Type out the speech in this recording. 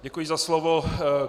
Děkuji za slovo.